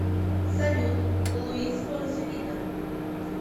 салют луис фонси вида